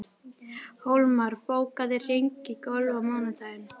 Hólmar, bókaðu hring í golf á mánudaginn.